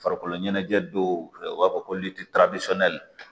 Farikolo ɲɛnajɛ do u b'a fɔ ko litiri tasɔnyali